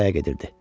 Saraya gedirdi.